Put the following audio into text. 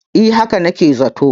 eh haka nake zato